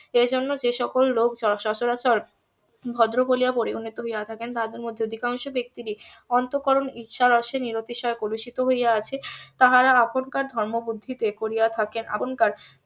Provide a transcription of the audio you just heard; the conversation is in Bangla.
এ জন্য যে সকল লোক সচরাচর ভদ্র বলিয়া পরিগণিত হইয়া থাকেন তাদের মধ্যে অধিকাংশ ব্যাক্তিরই অন্তঃকরণ ইচ্ছা রসে নিবেশিত হইয়া কলুষিত হইয়া আছে তাহারা এখনকার ধর্মবুদ্ধি তে করিয়া থাকেন আপনকার